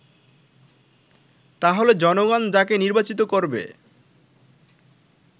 তাহলে জনগণ যাকে নির্বাচিত করবে